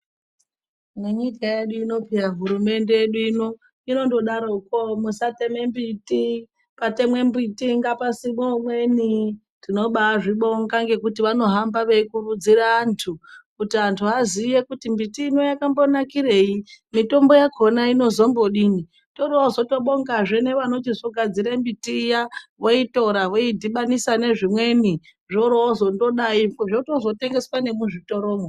Munyika yedu ino peya hurumende yedu ino inondodaroko musateme mbiti patemwe mbiti ngapasimwe umweni tinobaazvibonga ngekuti vanohamba veikurudzire anhu kuti antu aziye kuti miti ino yakambonakirei mitombo yakona inozombodini toroozobongazve nevanozogadzire mbiti iya voitora voidhibanisa ne zvimweni zvoroozondodai zvotozotengeswa nemuzvitoromwo.